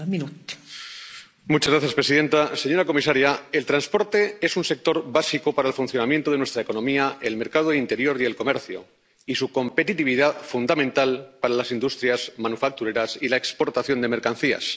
Señora presidenta, señora comisaria, el transporte es un sector básico para el funcionamiento de nuestra economía, el mercado interior y el comercio, y su competitividad, fundamental para las industrias manufactureras y la exportación de mercancías.